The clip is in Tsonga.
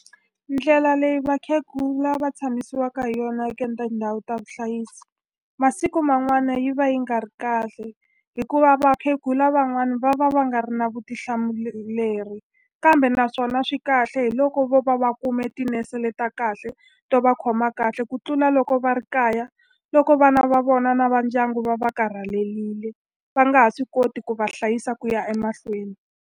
Ndlela leyi vakhegula va tshamisiwaka hi yona tindhawu ta vuhlayisi masiku man'wana yi va yi nga ri kahle hikuva vakhegula van'wani va va va nga ri na kambe naswona swi kahle hi loko vo va va kume tinese le ta kahle to va khoma kahle ku tlula loko va ri kaya loko vana va vona na va ndyangu va va karhalelile va nga ha swi koti ku va hlayisa ku ya emahlweni.